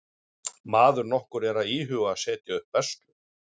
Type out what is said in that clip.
Maður nokkur er að íhuga að setja upp verslun.